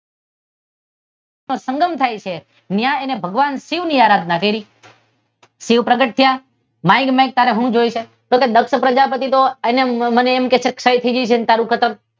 સંગમ થાય છે ત્યાં તેને ભગવાન શિવ ની આરાધના કરી. શિવ પ્રગટ થ્યા. માંગ માંગ તારે શું જોઇયે છે? તો કે દક્ષ પ્રજાપતિ તો મને એમ કેહશે સહી થઈ તારું કતલ